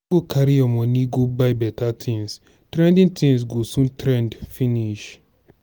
no go carry your money go buy beta things trending things go soon trend finish.